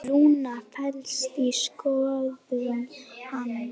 Rúna féllst á skoðun hans.